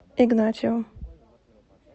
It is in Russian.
игнатьевым